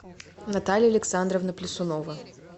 наталья александровна плясунова